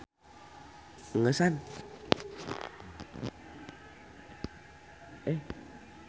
Donald Entog mangrupa tokoh jieunan Walt Disney